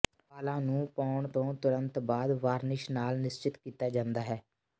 ਵਾਲਾਂ ਨੂੰ ਪਾਉਣ ਤੋਂ ਤੁਰੰਤ ਬਾਅਦ ਵਾਰਨਿਸ਼ ਨਾਲ ਨਿਸ਼ਚਿਤ ਕੀਤਾ ਜਾਂਦਾ ਹੈ